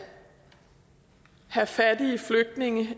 have fattige flygtninge